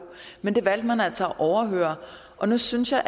men det valgte man altså at overhøre og nu synes jeg